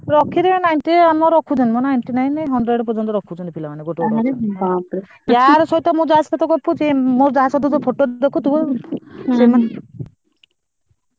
ରଖି ଛନ୍ତି ninety ମୁଁ ଯାହା ସହିତ ଗପୁଚି ମୋର ଯାହା ସହିତ photo ଦେଖୁଥିବୁ ।